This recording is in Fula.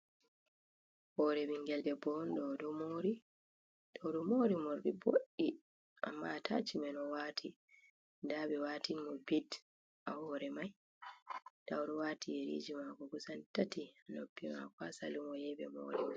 Hore ɓingel debbo on, o ɗo mori. O ɗo mori morɗi boɗɗi, amma atashmen o waati. Nda be watin mo bit ha hore mai, nda o ɗo waati yeriji maako kusan tati ha noppi mako, ha salum o yai ɓe mori mo.